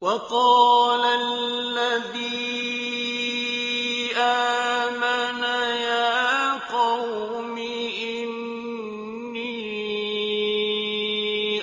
وَقَالَ الَّذِي آمَنَ يَا قَوْمِ إِنِّي